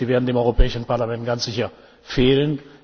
Sie werden dem Europäischen Parlament ganz sicher fehlen.